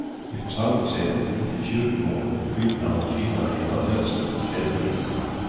I församlingshemmet intill kyrkogården skymtar en kvinna i ett av fönstren i kvällningen.